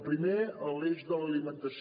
el primer l’eix de l’alimentació